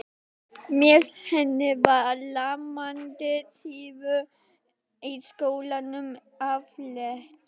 Með henni var lamandi syfju í skólanum aflétt.